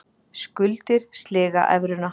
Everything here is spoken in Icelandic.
Skuldir sliga evruna